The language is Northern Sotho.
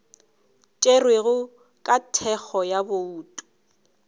tšerwego ka thekgo ya bouto